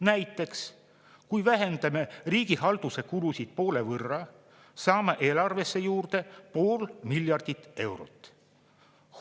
Näiteks kui vähendame riigihalduse kulusid poole võrra, saame eelarvesse juurde pool miljardit eurot.